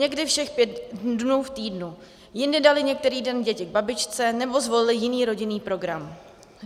Někdy všech pět dnů v týdnu, jindy dali některý den děti k babičce nebo zvolili jiný rodinný program.